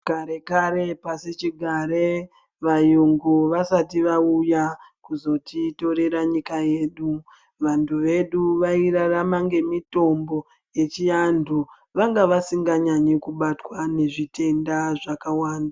Kare-kare pasichigare vayungu vasati vauya kuzotitorera nyika yedu, vantu vedu vairarama ngemitombo yechiantu. Vanga vasinganyanyi kubatwa nezvitenda zvakawanda.